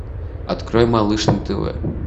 открой малыш на тв